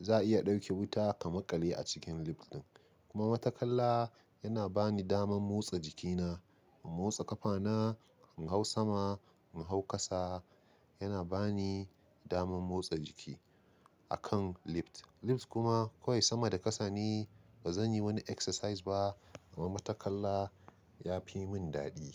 za a iya ɗauke wuta ka maƙale a cikin lift ɗin. Kuma matattakala yana ba ni daman motsa jikina, in motsa ƙafana, in hau sama, in hau ƙasa, yana ba ni damar motsa jiki akan lift. Lift kuma ko ai sama da ƙasa ne, ba zan yi wani exercise ba. Amma matattakala ya fi mun daɗi.